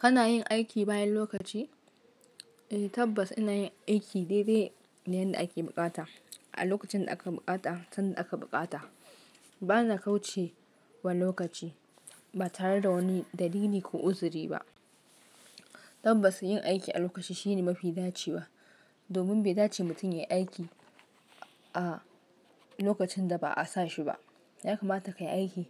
Kana yin aiki bayan lokaci? Eh tabbas ina yin aiki daidai da yadda ake buƙata a lokacin da aka buƙata, tunda aka buƙata. Ba na kauce wa lokaci ba tare da wani dalili ko uzuri ba. Tabbas yin aiki a lokaci shine mafi dacewa. Domin bai dace mutum yayi aiki a lokacin da ba a sa shi ba. Yakamata kayi aiki